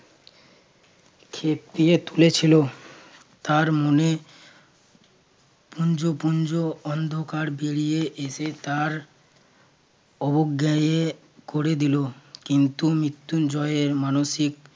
খেপিয়ে তুলেছিল তার মনে পুঞ্জ পুঞ্জ অন্ধকার বেরিয়ে এসে তার অবজ্ঞায়ে করে দিল। কিন্তু মৃত্যুঞ্জয়ের মানসিক